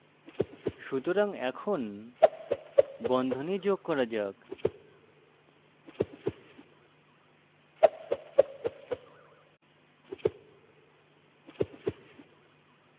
সুতরাং এখন বন্ধনী যোগ করা যাক